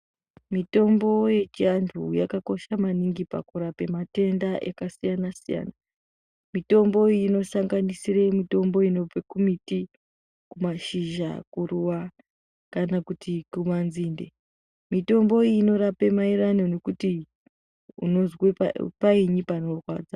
Mitombo yechiantu yakakosha maningi pakurape matenda ekasiyana-siyana. Mitombo iyi inosanganisire mitombo inobve kumiti, kumashizha, kuruva kana kuti kumanzinde. Mitombo iyi inorape maererano nekuti painyi panorwadza.